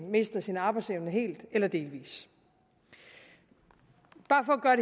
mister sin arbejdsevne helt eller delvist bare for at